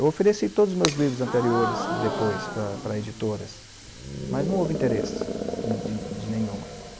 Eu ofereci todos os meus livros anteriores, depois, para para editoras, mas não houve interesse de de de nenhuma.